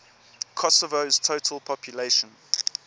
kosovo's total population